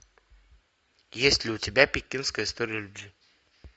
есть ли у тебя пекинская история любви